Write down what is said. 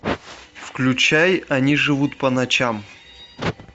включай они живут по ночам